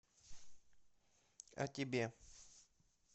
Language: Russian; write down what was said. о тебе